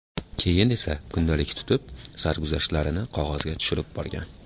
Keyin esa kundalik tutib, sarguzashtlarini qog‘ozga tushirib borgan.